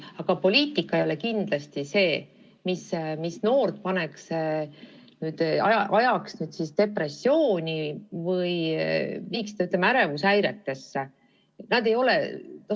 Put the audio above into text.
Aga poliitika ei ole kindlasti see, mis noortel depressiooni või ärevushäireid tekitaks.